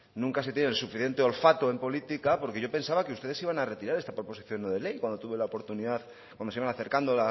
nunca se tiene el suficiente olfato en política porque yo pensaba que ustedes iban a retirar esta proposición no de ley cuando se iban acercando